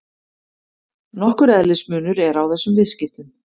Nokkur eðlismunur er á þessum viðskiptum.